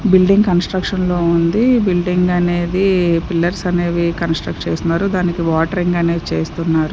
Building construction లో ఉంది building అనేది పిల్లర్స్ అనేవి కన్స్టుట్ చేస్తున్నారు దానికి వాటరింగ్ అని చేస్తున్నారు.